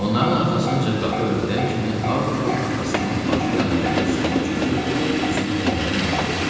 Onların arxasınca qapı örtülən kimi Artur atasının başı yanındakı stula çöküb üzünü əlləriylə örtdü.